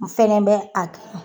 N fɛnɛ bɛ a kan.